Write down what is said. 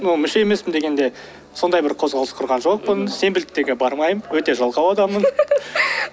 ну мүше емеспін дегенде сондай бір қозғалыс құрған жоқпын сенбіліктерге бармаймын өте жалқау адаммын